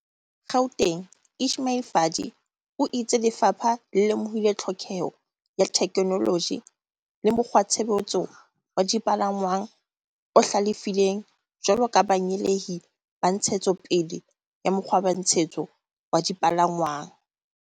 Gauteng Ismail Vadi o itse lefapha le lemohile tlhokeho ya thekenoloji le mokgwatshebetso wa dipalangwang o hlalefileng jwalo ka banyeheli ba ntshetso pele ya mokgwatshebetso wa dipalangwang.